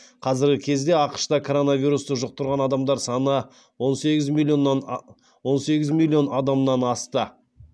қазіргі кезде ақш та коронавирусты жұқтырған адамдар саны он сегіз миллион адамнан асты